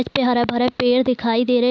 उस पे हरा भरा पेड़ दिखाई दे रहे --